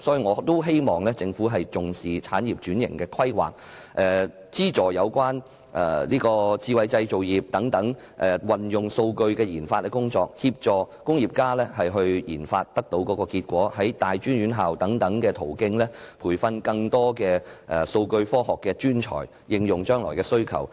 我希望政府重視產業轉型的規劃、資助有關智慧製造業運用數據的研發工作、協助工業家應用研發結果，以及透過大專院校等途徑培訓更多數據科學專才，以應付將來的需求。